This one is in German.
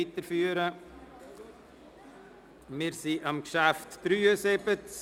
Wir fahren mit dem Traktandum 73 weiter.